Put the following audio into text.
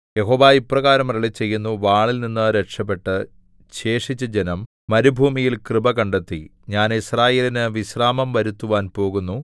യഹോവ ഇപ്രകാരം അരുളിച്ചെയ്യുന്നു വാളിൽനിന്ന് രക്ഷപെട്ട് ശേഷിച്ച ജനം മരുഭൂമിയിൽ കൃപ കണ്ടെത്തി ഞാൻ യിസ്രായേലിന് വിശ്രാമം വരുത്തുവാൻ പോകുന്നു